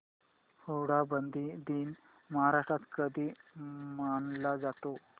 हुंडाबंदी दिन महाराष्ट्रात कधी मानला जातो